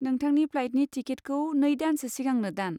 नोंथांनि फ्लाइटनि टिकेटखौ नै दानसो सिगांनो दान।